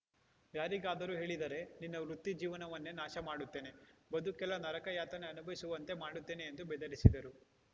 ಯಾರಿಗಾದರೂ ಹೇಳಿದರೆ ನಿನ್ನ ವೃತ್ತಿ ಜೀವನವನ್ನೇ ನಾಶಮಾಡುತ್ತೇನೆ ಬದುಕೆಲ್ಲ ನರಕ ಯಾತನೆ ಅನುಭವಿಸುವಂತೆ ಮಾಡುತ್ತೇನೆ ಎಂದು ಬೆದರಿಸಿದರು